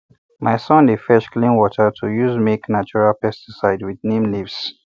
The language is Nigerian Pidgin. my son dey fetch clean water to use make natural pesticide with neem leaves